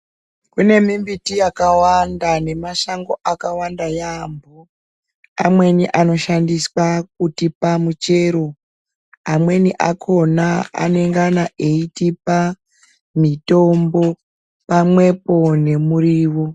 Kune mimbiti yakawanda nemashango akawanda yaamho amweni anoshandiswa kutipa michero amweni akona anengana eitipa mitombo pamwepo numuriwo.